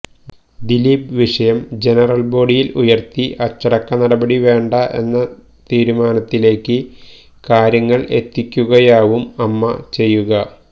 ദിലീപ് വിഷയം ജനറല് ബോഡിയില് ഉയര്ത്തി അച്ചടക്ക നടപടി വേണ്ട എന്ന തീരുമാനത്തിലേക്ക് കാര്യങ്ങള് എത്തിക്കുകയാവും അമ്മ ചെയ്യുക